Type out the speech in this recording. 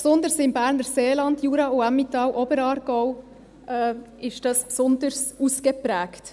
Die Gefahr, dass man dies nicht aufrechterhalten kann, ist im Berner Seeland, Jura, Emmental und Oberaargau besonders ausgeprägt.